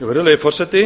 virðulegi forseti